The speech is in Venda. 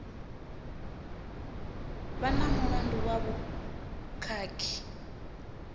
vha na mulandu wa vhukhakhi